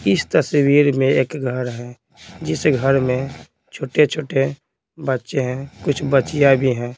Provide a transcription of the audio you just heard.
इस तस्वीर में एक घर है जिस घर में छोटे-छोटे बच्चे हैं कुछ बच्चियाँ भी हैं।